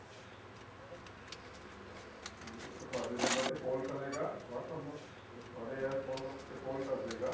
ਵੀ ਉਹ ਤੁਹਾਡੇ number ਤੇ call ਕਰੇਗਾ WhatsApp ਤੁਹਾਡੇ ਇਸ phone number ਤੇ call ਕਰ ਦੇਗਾ